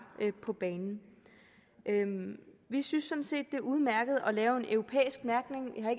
på banen vi synes det er udmærket at lave en europæisk mærkning jeg